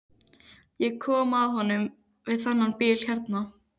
Ég kom að honum við þennan bíl hérna.